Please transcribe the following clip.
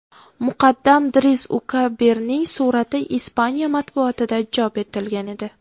Muqaddam Driss Ukabirning surati Ispaniya matbuotida chop etilgan edi .